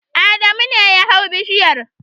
Adamu ne ya hau bishiyar.